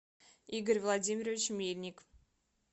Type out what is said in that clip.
игорь владимирович мельник